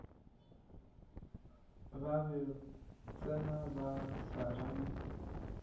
ba ba tsena ba swarane